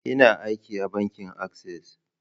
Ina aiki a bankin Access.